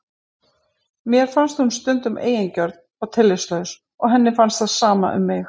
Mér finnst hún stundum eigingjörn og tillitslaus og henni finnst það sama um mig.